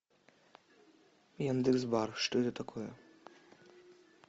яндекс бар что это такое